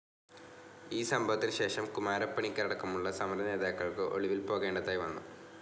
ഈ സംഭവത്തിന് ശേഷം കുമാരപ്പണിക്കരടക്കമുള്ള സമര നേതാക്കൾക്ക് ഒളിവിൽ പോകേണ്ടതായി വന്നു.